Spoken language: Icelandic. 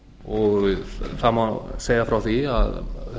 og það má segja frá því að